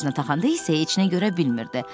Gözünə taxanda isə heç nə görə bilmirdi.